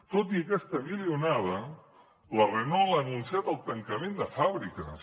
tot i aquesta milionada la renault ha anunciat el tancament de fàbriques